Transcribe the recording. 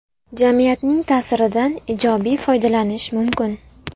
Jamiyatning ta’siridan ijobiy foydalanish mumkin.